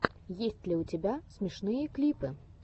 есть ли у тебя смешные клипы